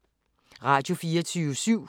Radio24syv